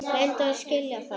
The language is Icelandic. Reyndu að skilja það.